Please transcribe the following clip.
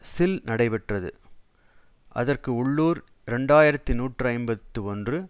சில் நடைபெற்றது அதற்கு உள்ளூர் இரண்டு ஆயிரத்து நூற்றி ஐம்பத்தி ஒன்று